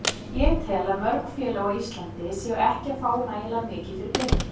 Ég tel að mörg félög á Íslandi séu ekki að fá nægilega mikið fyrir peninginn.